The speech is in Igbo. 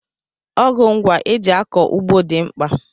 Ọgụ ngwa eji akọ ugbo dị mkpa.